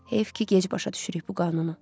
Heyf ki, gec başa düşürük bu qanunu.